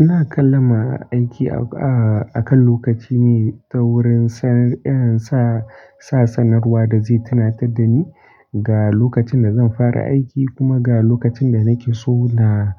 Ina kallon ma aiki, a, a kan lokaci ne ta wurin san, eh, sa, sa sanarwa da zai tunatar da ni ga lokacin da zan fara aiki kuma ga lokacin da nake so na,